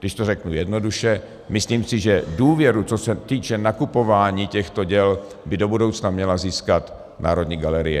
Když to řeknu jednoduše, myslím si, že důvěru, co se týče nakupování těchto děl, by do budoucna měla získat Národní galerie.